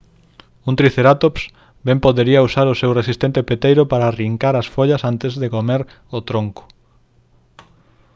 un tricerátops ben podería usar o seu resistente peteiro para arrincar as follas antes de comer o tronco